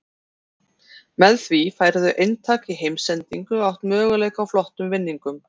Með því færðu eintak í heimsendingu og átt möguleika á flottum vinningum.